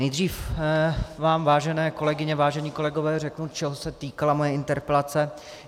Nejdřív vám, vážené kolegyně, vážení kolegové, řeknu, čeho se týkala moje interpelace.